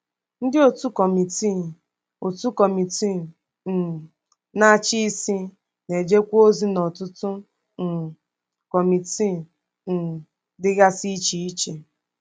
Ndị òtù Kọmitii òtù Kọmitii um Na-achị Isi na-ejekwa ozi n’ọtụtụ um kọmitii um dịgasị iche iche.